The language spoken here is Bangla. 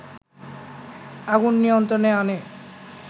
আগুন নিয়ন্ত্রণে আনে